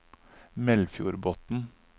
Melfjordbotn